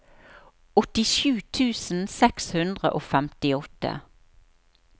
åttisju tusen seks hundre og femtiåtte